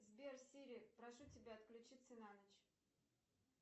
сбер сири прошу тебя отключиться на ночь